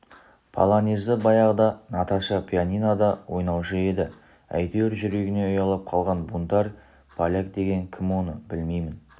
полонезді баяғыда наташа пианинода ойнаушы еді әйтеуір жүрегіне ұялап қалған бунтарь поляк деген кім оны білмеймін